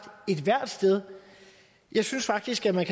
ethvert sted jeg synes faktisk at man